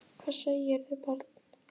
Hvað segirðu barn?